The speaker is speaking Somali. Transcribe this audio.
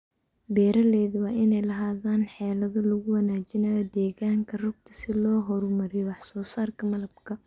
Beeralayda waa inay lahaadaan xeelado lagu wanaajinayo deegaanka rugta si loo horumariyo wax soo saarka malabka.